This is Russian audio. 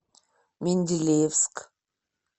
менделеевск